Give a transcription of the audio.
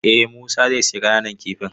Eh Musa zai sayi ƙananan kifin.